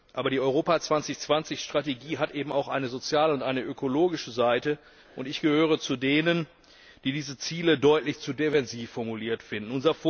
Aber die Europa 2020 Strategie hat eben auch eine soziale und eine ökologische Seite. Ich gehöre zu denen, die diese Ziele deutlich zu defensiv formuliert finden.